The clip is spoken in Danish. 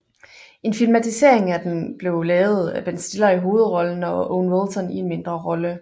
En filmatisering af den blevet lavet Ben Stiller i hovedrollen og Owen Wilson i en mindre rolle